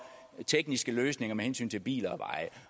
tekniske løsninger med hensyn til biler